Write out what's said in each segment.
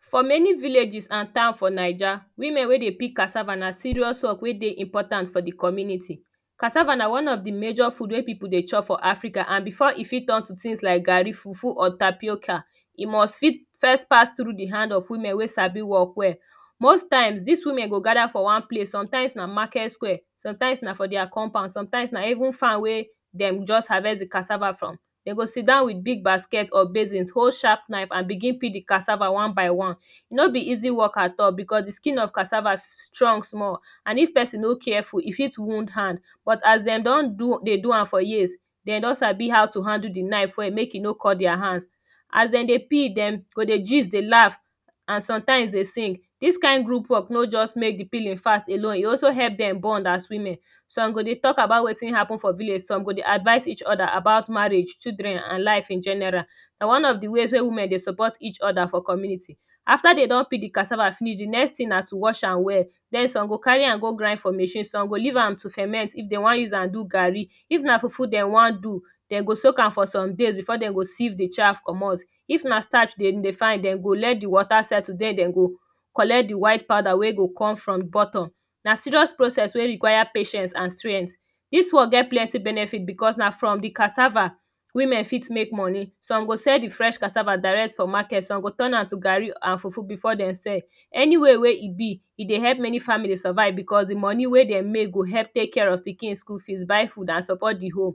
For many villages and town for naija woman wey dey pick cassava na serious work wey dey important for de community cassava na one of de major food wey people dey chop for Africa and before e fit turn to tins like garri, fufu or tapioca e must fit first pass trough de hand of women wey Sabi work well most times dis women go gada for one place sometimes na market square sometimes na for dia compound sometimes na even farm wey wey dem just harvest de cassava from dem go sidown wit big basket if basins hold sharp knife and begin peel de cassava one by one. No be easy work at all because de skin of cassava strong small and if person no careful e fit wound hand bit as dem don dey do am for years dem don Sabi how to handle de knife well make e no cut dia hand as dem dey peel dem go dey gist dey laugh an sometimes dey sing dis kind group work no just make de peeling fast along e also help dem bond as women some go dey talk about wetin happen for village some go dey advice each other about marriage children and life in general. Na one of de ways wey women dey support each other for community after dey don peel de cassava finish de next thing na to wash am well den some go carry am go grind for machine, some go leave am to ferment if dem wan use am do garri if na fufu dem wan do dem go soak am for some days before dem go seive de starch comot. If na starch dem dey find dem go let de wata settle dem dem go collect de white powder wey go come from bottom na serious process wey require patience and strengt dis work get plenty benefit because na from de cassava women fit make money some go sell de fresh cassava direct from market some go turn am to garri and fufu before dem sell any way wey e be e dey help many family survive because de money wey dem mek go help tek care of pikin school fees, buy food an support de home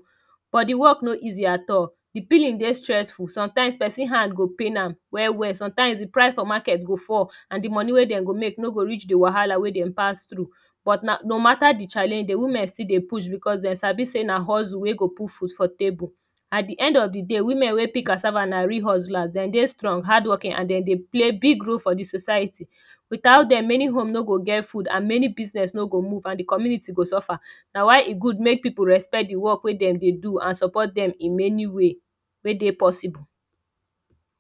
but de work no easy at all de peeling dey stressful some times person hand go pain am well well some times de price for market go fall and de money wey dem go make no go reach de wahala wey dem pass trough but no mata de challenge de women still dey push becos dem Sabi say na hustle wey go put food for table, at de end of de day women wey peel cassava na real Hustler becos dem dey strong hardworking and dem dey play big role for de society Witout dem many home no go get food and many business no go move and de community go suffer Na why e good make we respect de work wey dem dey do and support dem in many ways wey dey possible